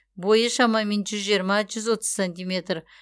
бойы шамамен жүз жиырма жүз отыз сантиметр